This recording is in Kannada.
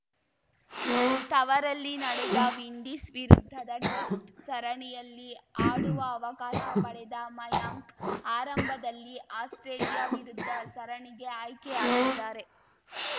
ತವರಲ್ಲಿ ನಡೆದ ವಿಂಡೀಸ್‌ ವಿರುದ್ಧದ ಟ್ರಸ್ಟ್‌ ಸರಣಿಯಲ್ಲಿ ಆಡುವ ಅವಕಾಶ ಪಡೆದ ಮಯಾಂಕ್‌ ಆರಂಭದಲ್ಲಿ ಆಸ್ಪ್ರೇಲಿಯಾ ವಿರುದ್ಧ ಸರಣಿಗೆ ಆಯ್ಕೆಯಾಗಿದ್ದಾರೆ